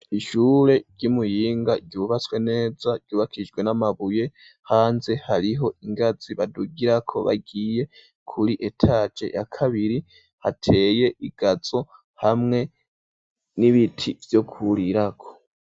Ishure ry'i Muyinga, ryubatswe neza, ryubakijwe n'amabuye; hanze hariho ingazi badugirako, bagiye kuri etaje yakabiri; hateye igazo, hamwe n'ibiti vyo kwurirako.